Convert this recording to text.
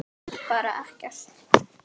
Bara ekkert.